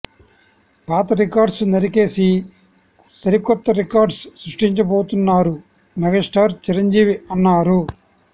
పాత రికార్డ్స్ నరికేసి సరికొత్త రికార్డ్స్ సృష్టించబోతున్నారు మెగాస్టార్ చిరంజీవి అన్నారు